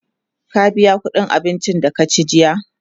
ka biya ƙuɗin abincin da ka ci jiya?